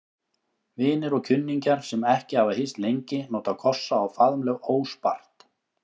Vinir og kunningjar, sem ekki hafa hist lengi, nota kossa og faðmlög óspart.